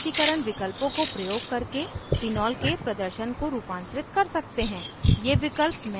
हम भिन्न प्रस्तुतीकरण विकल्पों को प्रयोग करके phenol के प्रदर्शन को रूपांतरित कर सकते हैं